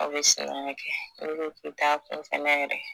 Aw bɛ kɛ n'i ko k'i taa kun fana yɛrɛ